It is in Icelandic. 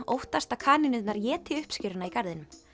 óttast að kanínurnar éti uppskeruna í garðinum